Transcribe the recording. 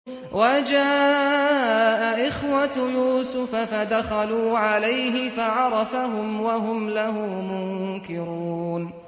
وَجَاءَ إِخْوَةُ يُوسُفَ فَدَخَلُوا عَلَيْهِ فَعَرَفَهُمْ وَهُمْ لَهُ مُنكِرُونَ